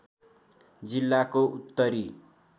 जिल्लाको उत्तरी